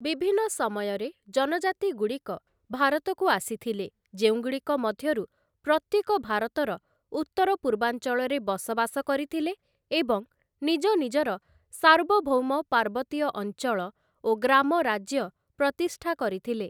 ବିଭିନ୍ନ ସମୟରେ ଜନଜାତିଗୁଡ଼ିକ ଭାରତକୁ ଆସିଥିଲେ, ଯେଉଁଗୁଡ଼ିକ ମଧ୍ୟରୁ ପ୍ରତ୍ୟେକ ଭାରତର ଉତ୍ତର-ପୂର୍ବାଞ୍ଚଳରେ ବସବାସ କରିଥିଲେ ଏବଂ ନିଜ ନିଜର ସାର୍ବଭୌମ ପାର୍ବତୀୟ ଅଞ୍ଚଳ ଓ ଗ୍ରାମ ରାଜ୍ୟ ପ୍ରତିଷ୍ଠା କରିଥିଲେ ।